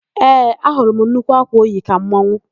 Ee, ahụrụ m nnukwu ákwà o yi ka mmanwụ.